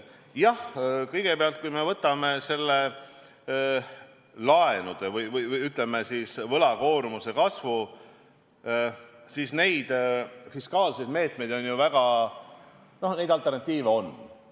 Jah, kõigepealt, kui me võtame selle laenude või, ütleme, võlakoormuse kasvu, siis neid fiskaalseid meetmeid on, alternatiive on.